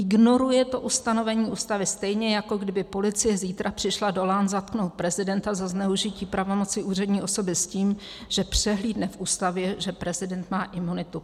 Ignoruje to ustanovení Ústavy stejně, jako kdyby policie zítra přišla do Lán zatknout prezidenta za zneužití pravomoci úřední osoby s tím, že přehlídne v Ústavě, že prezident má imunitu.